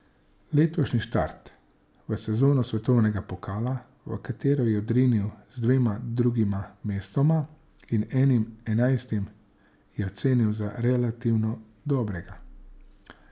Letošnji štart v sezono svetovnega pokala, v katero je odrinil z dvema drugima mestoma in enim enajstim, je ocenil za relativno dobrega.